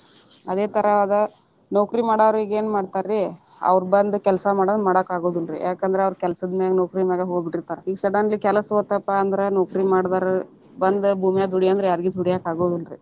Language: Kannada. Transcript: ಅದೇ ತರಹದ ನೌಕರಿ ಮಾಡೋರು ಈಗ್ ಏನ್ ಮಾಡ್ತನ್ರಿ, ಅವ್ರ ಬಂದ ಕೆಲ್ಸಾ ಮಾಡಾಕ ಅಗುದಿಲ್ಲಾರೀ ಯಾಕಂದ್ರ ಅವ್ರ ಕೆಲಸದ ಮ್ಯಾಲೆ ನೌಕರಿ ಮ್ಯಾಗ ಹೋಗ್ಬಿಟ್ಟಿರ್ತಾರ ಈಗ್ suddenly ಕೆಲಸ ಹೊತಪಾ ಅಂದ್ರ ನೌಕರಿ ಮಾಡದವರು ಬಂದ ಭೂಮ್ಯಾಗ ದುಡಿ ಅಂದ್ರ ಯಾರಿಗಿ ದುಡ್ಯಾಕ ಆಗುದಿಲ್ಲಾರೀ.